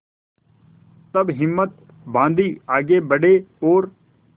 तब हिम्मत बॉँधी आगे बड़े और